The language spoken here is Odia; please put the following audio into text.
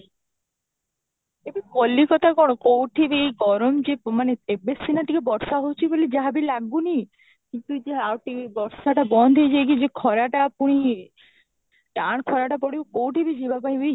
ଏବେ କଲିକତା କଣ କୋଉଠି ବି ଗରମ ଯେ ମାନେ ଏବେ ସିନା ଟିକେ ବର୍ଷା ହେଉଛି ବୋଲି ଯାହା ବି ଲାଗୁନି କିନ୍ତୁ ଯେ ଆଉ ବର୍ଷାଟା ବନ୍ଦ ହେଇ ଯାଇ କି ଯେ ଖରାଟା ପୁଣି ଟାଣ ଖରାଟା ପଡିବ କୋଉଠି ବି ଯିବା ପାଇଁ ବି